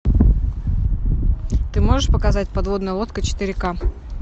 ты можешь показать подводная лодка четыре ка